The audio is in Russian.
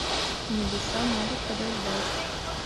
небеса могут подождать